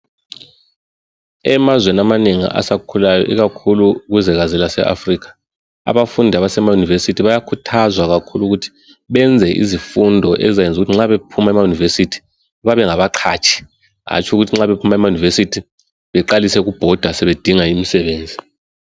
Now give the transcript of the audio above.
Emazweni amanengi asakhulayo, ikakhulu kuzwekazi laseAfrica. Abafundi abasema university, bayakhuthazwa ukuthi benze izifundo ezizabenza ukuthi uma bephuma ema university, babe mgabaqhatshi. Hatshi ukuthi ma bephuma ema university, baqale ukubhoda sebedinga umsebenzi.